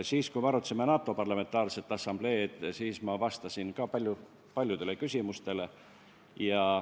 Siis, kui me arutasime NATO Parlamentaarse Assamblee delegatsiooni, siis ma vastasin ka paljudele küsimustele.